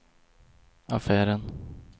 affären